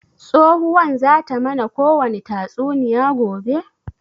Tsohuwan zata mana kowani tatsuniya gobe?